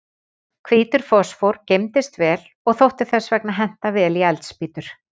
Hvítur fosfór geymdist vel og þótti þess vegna henta vel í eldspýtur.